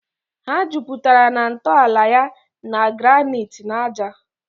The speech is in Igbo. Ha juputara na ntọala ya na granite na ájá.